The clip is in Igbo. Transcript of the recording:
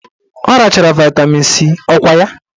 Ọ rachara vaịtamin C ọkwa ya?